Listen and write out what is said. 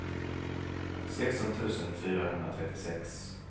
sexton tusen fyrahundratrettiosex